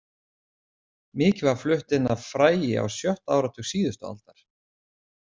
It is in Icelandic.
Mikið var flutt inn af fræi á sjötta áratug síðustu aldar.